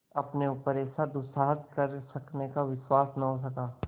अपने ऊपर ऐसा दुस्साहस कर सकने का विश्वास न हो सका